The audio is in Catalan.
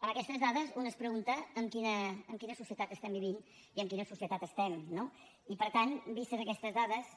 amb aquestes dades una es pregunta en quina societat estem vivint i en quina societat estem no i per tant vistes aquestes dades